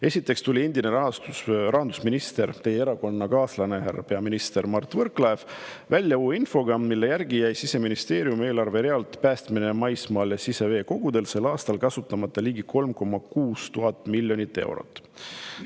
Esiteks tuli endine rahandusminister – teie erakonnakaaslane, härra peaminister – Mart Võrklaev välja uue infoga, mille järgi jäi Siseministeeriumi eelarverealt "Päästmine maismaal ja siseveekogudel" 2024. aastal kasutamata ligi 3,6 miljonit eurot.